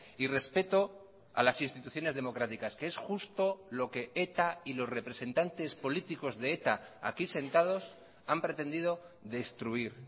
y respeto a las instituciones democráticas que es justo lo que eta y los representantes políticos de eta aquí sentados han pretendido destruir